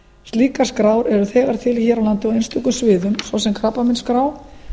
slíkar skrár eru þegar til hér á landi á einstökum sviðum svo sem krabbameinsskrá